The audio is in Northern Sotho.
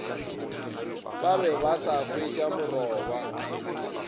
ba be ba sa hwetšamoraba